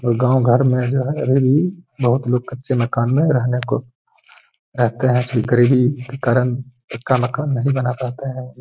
लोग गांव घर में जो है बहोत लोग कच्चे मकान में रहने को रहते हैं। गरीबी के कारण पक्का मकान नहीं बना पाते हैं।